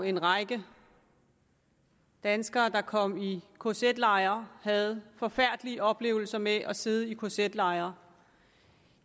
en række danskere der kom i kz lejre og havde forfærdelige oplevelser med at sidde i kz lejre